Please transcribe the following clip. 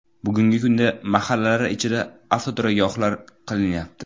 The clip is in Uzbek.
Bugungi kunda mahallalar ichida avtoturargohlar qilinyapti.